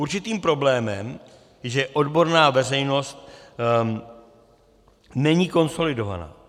Určitým problémem je, že odborná veřejnost není konsolidovaná.